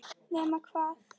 Nema hvað?